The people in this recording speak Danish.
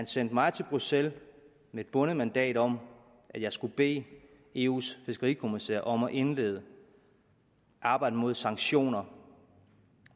sendte mig til bruxelles med et bundet mandat om at jeg skulle bede eus fiskerikommissær om at indlede arbejdet med sanktioner